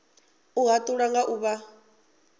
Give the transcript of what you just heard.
u hatula nga u vha